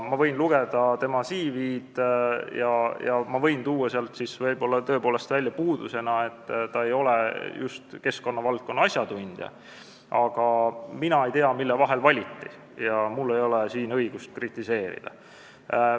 Ma võin lugeda tema CV-d ja võin võib-olla tõepoolest puudusena välja tuua, et ta ei ole just keskkonnavaldkonna asjatundja, aga mina ei tea, kelle vahel valiti, ja mul ei ole siin õigust kritiseerida.